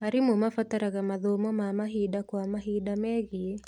Arimũ mabataraga mathomo ma mahinda kwa mahinda megie